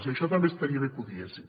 i això també estaria bé que ho diguessin